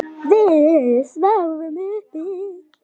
Við sváfum uppi.